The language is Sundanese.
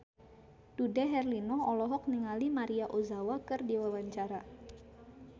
Dude Herlino olohok ningali Maria Ozawa keur diwawancara